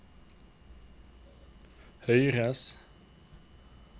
høyres